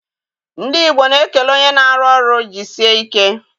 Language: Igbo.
Ndị Igbo na-ekele onye na-arụ ọrụ jisie ike